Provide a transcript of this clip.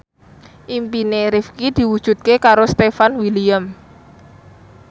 impine Rifqi diwujudke karo Stefan William